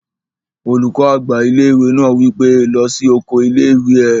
Olùkọ́ àgbà ilé-ìwé náà wí pé, "lọ sí oko ilé-ìwé!"